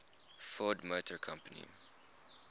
ford motor company